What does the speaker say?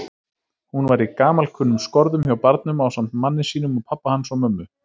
Hún var í gamalkunnum skorðum hjá barnum ásamt manni sínum og pabba hans og mömmu.